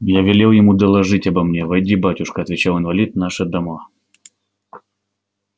я велел ему доложить обо мне войди батюшка отвечал инвалид наши дома